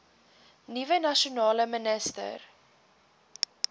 nuwe nasionale minister